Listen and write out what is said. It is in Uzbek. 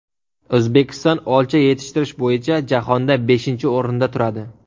O‘zbekiston olcha yetishtirish bo‘yicha jahonda beshinchi o‘rinda turadi.